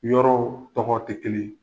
Yɔrɔw tɔgɔ te kelen ye.